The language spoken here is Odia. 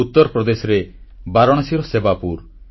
ଉତ୍ତରପ୍ରଦେଶରେ ବାରଣାସୀର ସେବାପୁର